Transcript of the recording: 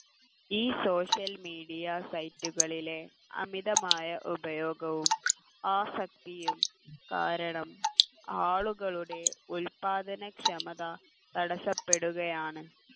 ഈ social media site കളിലെ അമിതമായ ഉപയോഗവും ആസക്തിയും കാരണം ആളുകളുടെ ഉത്പാദനക്ഷമത തടസ്സപ്പെടുകയാണ്